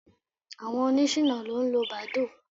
Àwọn oníṣìná ló ń lo Badoo.